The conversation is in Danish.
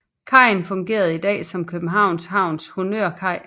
Kajen fungerer i dag som Københavns Havns honnørkaj